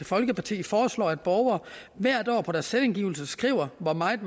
folkeparti foreslår at borgere hvert år på deres selvangivelse skriver hvor meget